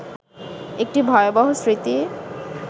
একটি ভয়াবহ স্মৃতি